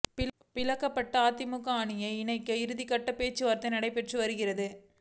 பிளவுபட்டுள்ள அதிமுக அணிகளை இணைக்க இறுதிக்கட்ட பேச்சுவார்த்தை நடைபெற்று வருகிறது